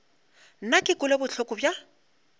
nna ke kwele bohloko bja